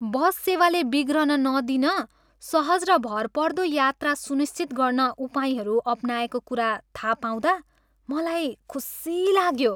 बस सेवाले बिग्रन नदिन, सहज र भरपर्दो यात्रा सुनिश्चित गर्न उपायहरू अपनाएको कुरा थाहा पाउँदा मलाई खुसी लाग्यो।